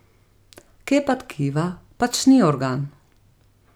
Kepa tkiva pač ni organ.